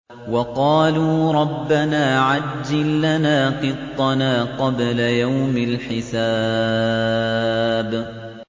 وَقَالُوا رَبَّنَا عَجِّل لَّنَا قِطَّنَا قَبْلَ يَوْمِ الْحِسَابِ